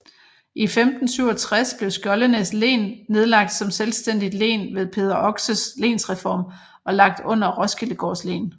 I 1567 blev Skjoldenæs Len nedlagt som selvstændigt len ved Peder Oxes lensreform og lagt under Roskildegaards len